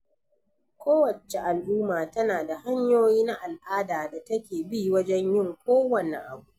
Ko wacce al'umma tana da hanyoyi na al'ada da take bi wajen yin ko wanne abu.